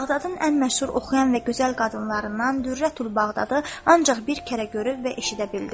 Bağdadın ən məşhur oxuyan və gözəl qadınlarından Dürrətül Bağdadı ancaq bir kərə görüb və eşidə bildim.